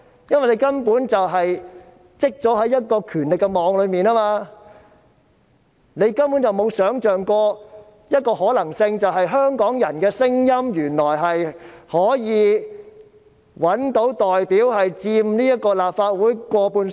因為他們已墜入權力網之中，根本無法想象原來香港人的聲音可以找到代表，而這些代表佔立法會過半數。